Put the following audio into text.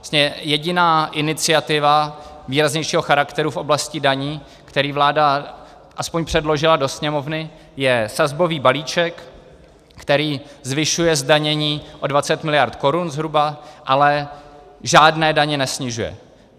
Vlastně jediná iniciativa výraznějšího charakteru v oblasti daní, kterou vláda aspoň předložila do Sněmovny, je sazbový balíček, který zvyšuje zdanění o 20 miliard korun zhruba, ale žádné daně nesnižuje.